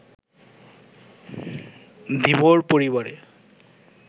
ধীবর পরিবারে